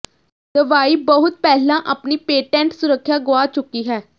ਦਵਾਈ ਬਹੁਤ ਪਹਿਲਾਂ ਆਪਣੀ ਪੇਟੈਂਟ ਸੁਰੱਖਿਆ ਗੁਆ ਚੁੱਕੀ ਹੈ